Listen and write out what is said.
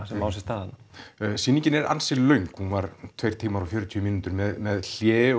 sem á sér stað sýningin er ansi löng tveir tímar og fjörutíu mínútur með hléi